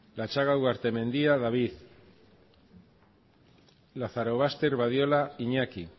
lazarobaster badiola iñaki